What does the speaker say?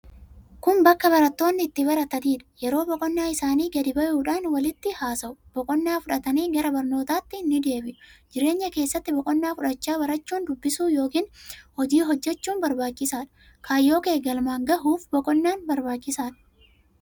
Kun bakka barattoonni itti barataniidha. yeroo boqonnaa isaanii gadi bayuudhan walitti haasa'u. Boqonnaa fudhatanii gara barnootatti ni deebi'u. Jireenya keessatti boqonnaa fudhachaa barachuun, dubbisuun yookin hojii hojjachuun barbaachisaadha. Kaayyoo kee gamalan gayuuf boqonnaan barbaachisaadha.